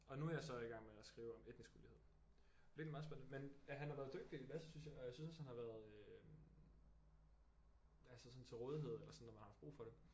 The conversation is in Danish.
Og nu er jeg så i gang med at skrive om etnisk ulighed det virker meget spændende men han har været dygtig Lasse synes jeg og jeg synes også han har været øh altså sådan til rådighed eller sådan når man har haft brug for det